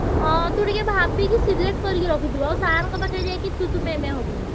ହଁ ତୁଟିକେ ଭାବିକି select କରିକି ରଖିଥିବୁ ଆଉ sir ଙ୍କ ପାଖକୁ ଯାଇକି ତୁ ତୁ ମେ ମେ ହବୁନୁ।